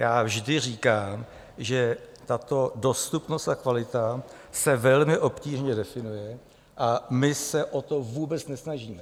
Já vždy říkám, že tato dostupnost a kvalita se velmi obtížně definuje, a my se o to vůbec nesnažíme.